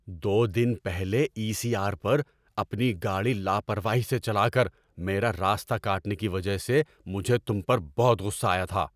دو دن پہلے E C R پر اپنی گاڑی لاپرواہی سے چلا کر میرا راستہ کاٹنے کی وجہ سے مجھے تم پر بہت غصہ آیا تھا۔